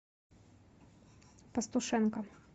пастушенко